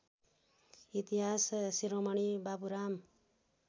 इतिहास शिरोमणि बाबुराम